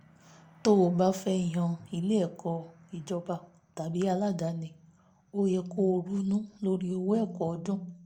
tó o bá fẹ́ yan ilé ẹ̀kọ́ ìjọba tàbí aládàní ó yẹ kó o ronú lórí owó ẹ̀kọ́ ọdún